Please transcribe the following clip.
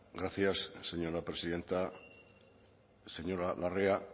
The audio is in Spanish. gracias señora presidenta señora larrea